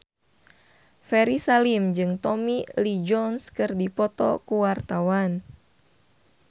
Ferry Salim jeung Tommy Lee Jones keur dipoto ku wartawan